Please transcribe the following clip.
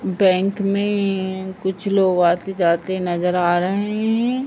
Bank में कुछ लोग आते जाते नजर आ रहें हैं।